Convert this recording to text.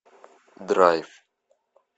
драйв